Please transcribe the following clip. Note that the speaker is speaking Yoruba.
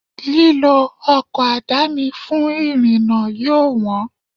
Lílọ ọkọ̀ àdáni fún ìrìnà yóò wọn.